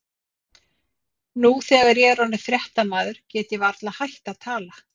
Nú þegar ég er orðinn fréttamaður get ég varla hætt að tala.